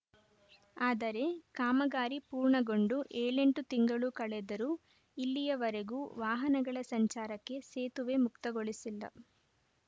ಆದರೆ ಕಾಮಗಾರಿ ಪೂರ್ಣಗೊಂಡು ಏಳೆಂಟು ತಿಂಗಳು ಕಳೆದರೂ ಇಲ್ಲಿಯವರೆಗೂ ವಾಹನಗಳ ಸಂಚಾರಕ್ಕೆ ಸೇತುವೆ ಮುಕ್ತಗೊಳಿಸಿಲ್ಲ